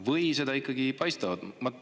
Või seda ikkagi ei paista?